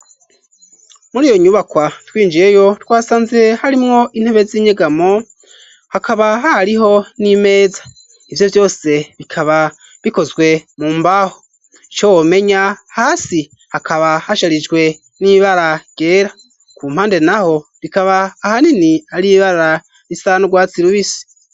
Muri iyo nyubakwa twinjiyeyo twasanze harimwo intebe z'inyegamo hakaba ha riho n'imeza ivyo vyose bikaba bikozwe mu mbaho ico womenya hasi hakaba hasharijwe n'ibara gera ku mpande na ho bikaba ahanini ariibara isanu rwatsi irubisi.